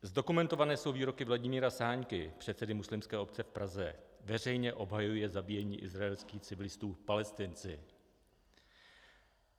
Zdokumentované jsou výroky Vladimíra Sáňky, předsedy Muslimské obce v Praze, veřejně obhajuje zabíjení izraelských civilistů Palestinci.